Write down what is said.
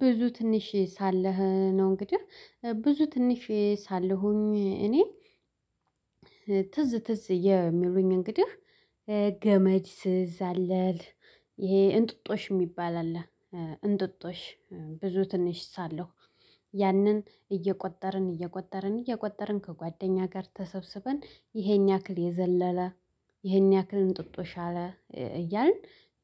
ብዙ ትንሽዬ ሳለህ ነው እንግዲህ ብዙ ትንሽዬ ሳለሁኝ እኔ ትዝ ትዝ የሚሉኝ እንግዲህ ገመድ ስዛለል ይሄ እንጥጦሽ የሚባል አለ እንጥጦሽ ብዙ ትንሽ ሳለሁ ያንን እይጨፈርን እየቆጠርን እየቆጠርን ከጓደኛ ጋር ተሰብስበን ይሄን ያክል የዘለለ ይሄን ያክል እንጥጦሻ አለ እያልን